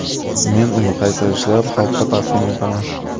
Men uni qayta ishlab, xalqqa taqdim etaman.